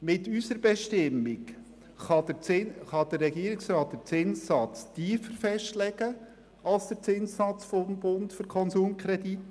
Mit unserer Bestimmung kann der Regierungsrat den Zinssatz tiefer festlegen als den Zinssatz des Bundes für Konsumkredite.